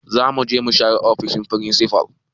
Zamuje mu share ofishin firinsifal